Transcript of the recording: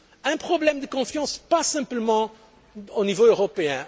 Un problème de confiance pas seulement au niveau européen.